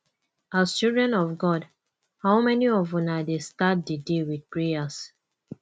as children of god how many of una dey start the day with prayers